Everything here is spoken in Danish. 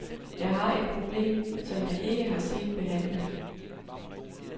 Jeg har et problem, som jeg ikke har set behandlet.